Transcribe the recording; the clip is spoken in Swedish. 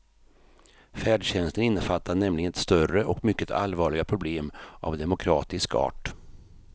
Färdtjänsten innefattar nämligen ett större och mycket allvarligare problem av demokratisk art.